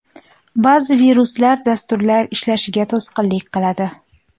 Ba’zi viruslar dasturlar ishlashiga to‘sqinlik qiladi.